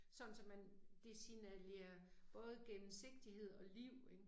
Sådan så man, det signalerer både gennemsigtighed og liv ik